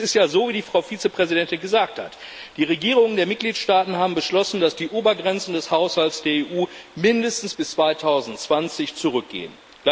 Denn es ist ja so, wie die Frau Vizepräsidentin gesagt hat Die Regierungen der Mitgliedstaaten haben beschlossen, dass die Obergrenzen des Haushalts der EU mindestens bis 2020 zurückgehen.